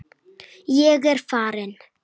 Ég er farinn!